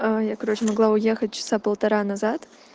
аа я короче могла уехать часа полтора назад